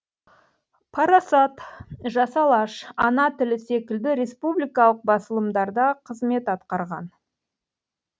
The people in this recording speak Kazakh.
парасат жас алаш ана тілі секілді республикалық басылымдарда қызмет атқарған